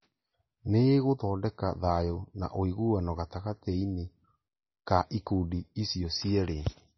Nĩĩgũthondeka thayũ na ũiguano gatagatĩ-inĩ ka ikundi icio cierĩ